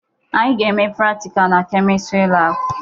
Anyị ga-eme pratika na Kemịstri laabụ.